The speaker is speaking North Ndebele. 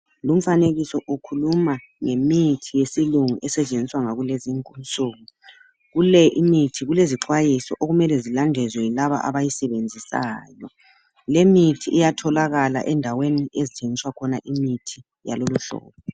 Lumfanekiso ukhuluma ngemithi yesilungu esetshenziswa ngakulesi insuku. Kule imithi kulezixwayiso okumele zilandezwe yilaba abayisebenzisayo. Le mithi iyatholakala endaweni ezithengiswa khona imithi yaloluhlobo.